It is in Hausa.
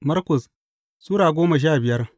Markus Sura goma sha biyar